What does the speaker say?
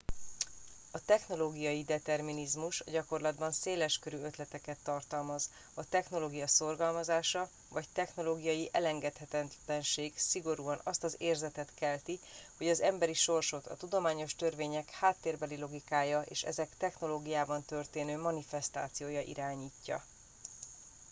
a technológiai determinizmus a gyakorlatban széleskörű ötleteket tartalmaz a technológia szorgalmazása vagy technológiai elengedhetetlenség szigorúan azt az érzetet kelti hogy az emberi sorsot a tudományos törvények háttérbeli logikája és ezek technológiában történő manifesztációja irányítja